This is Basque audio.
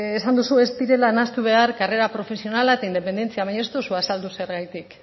esan duzu ez direla nahastu behar karrera profesionala eta independentzia baina ez duzu azaldu zergatik